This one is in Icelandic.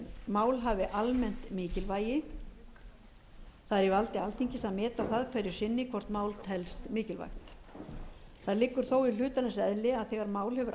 mál hafi almennt mikilvægi það er í valdi alþingis að meta það hverju sinni hvort mál telst mikilvægt það liggur þó í hlutarins eðli að þegar mál hefur